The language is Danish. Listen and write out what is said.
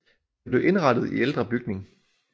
Det blev indrettet i ældre bygning